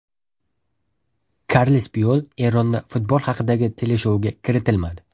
Karles Puyol Eronda futbol haqidagi teleshouga kiritilmadi.